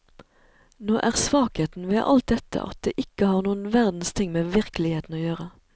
Nå er svakheten ved alt dette at det ikke har noen verdens ting med virkeligheten å gjøre.